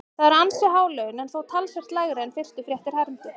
Það eru ansi há laun en þó talsvert lægri en fyrstu fréttir hermdu.